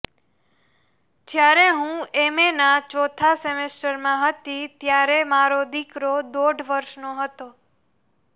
જ્યારે હું એમએના ચોથા સેમેસ્ટરમાં હતી ત્યારે મારો દીકરો દોઢ વર્ષનો હતો